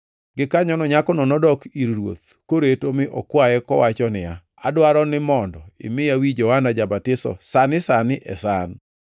Gikanyono nyakono nodok ir ruoth koreto mi okwaye kowacho niya, “Adwaro ni mondo imiya wi Johana ja-batiso sani sani e san.”